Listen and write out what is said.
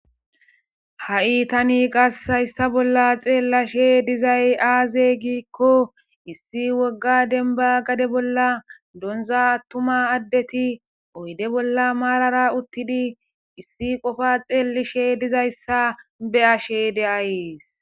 ha7i tani qas hayssa bolla xeellashe dizay aaze giikko issi wogga denba gade bolla donza attuma addeti oyde bolla maarara uttidi issi qofa xeelishe dizayssa be ashe de7ees.